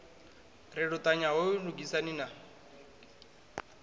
ri luṱanya hoyu lugisani na